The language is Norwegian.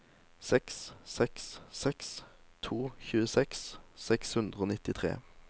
seks seks seks to tjueseks seks hundre og nittitre